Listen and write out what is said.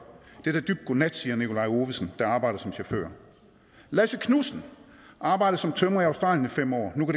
er da dybt godnat siger nikolaj ovesen der arbejder som chauffør lasse knudsen arbejdede som tømrer i australien i fem år og nu